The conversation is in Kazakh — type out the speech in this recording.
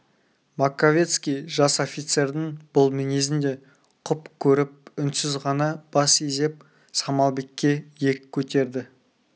маковецкий жас офицердің бұл мінезін де құп көріп үнсіз ғана бас изеп самалбекке иек көтерді